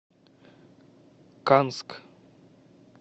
канск